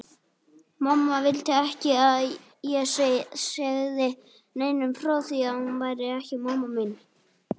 Mamma vildi ekki að ég segði neinum frá því að hún væri ekki mamma mín.